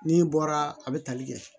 N'i bɔra a bɛ tali kɛ